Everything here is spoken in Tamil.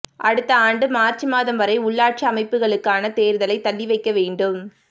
அடுத்த ஆண்டு மாா்ச் மாதம் வரை உள்ளாட்சி அமைப்புகளுக்கான தோ்தலை தள்ளிவைக்க வேண்டும்